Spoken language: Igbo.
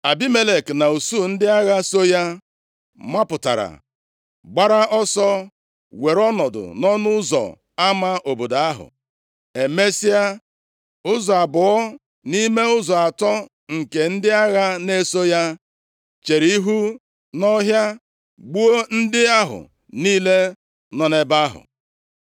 Abimelek na usuu ndị agha so ya mapụtara, gbara ọsọ were ọnọdụ nʼọnụ ụzọ ama obodo ahụ. Emesịa, ụzọ abụọ nʼime ụzọ atọ nke ndị agha na-eso ya chere ihu nʼọhịa gbuo ndị ahụ niile nọ nʼebe ahụ.